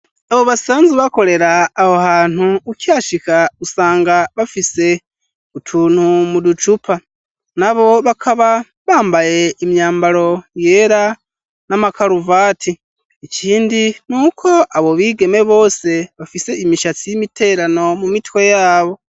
Abo basanze bakorera aho hantu ukihashika usanga bafise utuntu muducupa na bo bakaba bambaye imyambaro yera n'amakaruvati ikindi n'uko abo bigeme bose bafise imishatsi y'imiterano mu mitwe yabo.